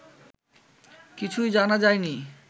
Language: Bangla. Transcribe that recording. কিছুই জানা যায় নি